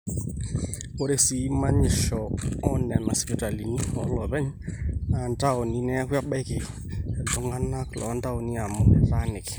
ore sii manyisho oonena sipitalini ooloopeny naa intaoni neeku ebaiki iltung'anak loontaoni amu etaaniki